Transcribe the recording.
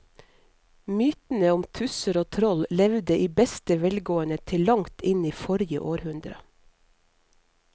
Mytene om tusser og troll levde i beste velgående til langt inn i forrige århundre.